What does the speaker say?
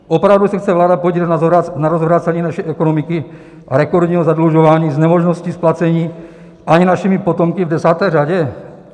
Opravdu se chce vláda podílet na rozvrácení naší ekonomiky a rekordním zadlužování s nemožností splacení ani našimi potomky v desáté řadě?